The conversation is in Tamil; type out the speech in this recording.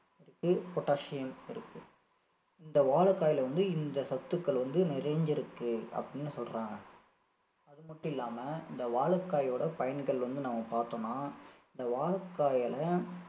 இருக்கு potassium இருக்கு இந்த வாழைக்காயில வந்து இந்த சத்துக்கள் வந்து நிறைந்திருக்கு அப்படின்னு சொல்றாங்க அதுமட்டும் இல்லாம இந்த வாழைக்காயோட பயன்கள் வந்து நாம் பார்த்தோம்னா இந்த வாழைக்காயில